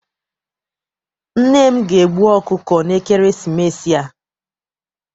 Nne m ga- egbu ọkụkọ na ekeresimesi a.